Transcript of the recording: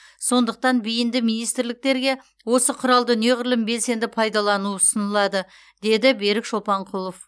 сондықтан бейінді министрліктерге осы құралды неғұрлым белсенді пайдалану ұсынылады деді берік шолпанқұлов